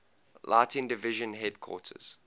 lighting division headquarters